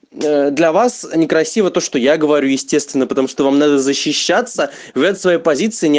для вас некрасиво то что я говорю естественно потому что вам надо защищаться в своей позиции не